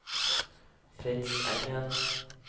Fritz Engen